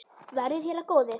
Verði þér að góðu.